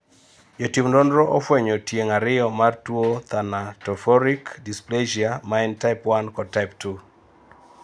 jo tim nonro ofuenyo tieng' ariyo mar tuo thanatophoric dysplasia, ma en type 1 kod type 2